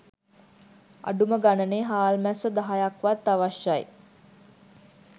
අඩුම ගණනේ හාල්මැස්සො දහයක්වත් අවශ්‍යයි